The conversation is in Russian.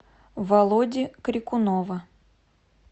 володи крикунова